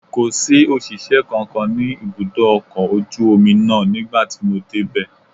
Kò sí òṣìṣẹ́ kankan ní ibùdó ọkọ̀ ojú omi náà nígbà tí mo dé bẹ